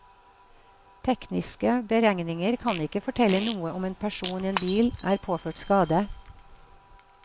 Tekniske beregninger kan ikke fortelle noe om en person i en bil er påført skade.